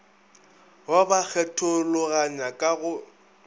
ba ba kgethologanya ka go